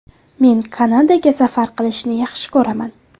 Men Kanadaga safar qilishni yaxshi ko‘raman.